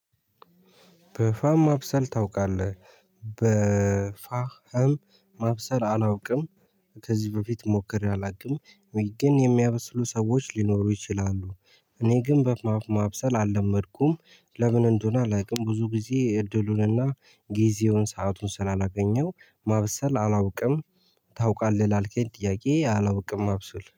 በፋህ ማብሰል ታውቃለህ በፋህም ማብሰል አላውቅም። ከዚህ በፊት ሞክሬ አላውቅም ወይ ግን የሚያበስሉ ሰዎች ሊኖሩ ይችላሉ። እኔ ግን በፋህ ማብሰል አልለመድኩም። ለምን እንደሆነ አላውቅም ብዙ ጊዜ እድሉንና ጊዜውን ሰአቱን ስላላገኘው ማበሰል አላውቅም። ታውቃለህ ላልከኝ ጥያቄ አላውቅም ማብሰል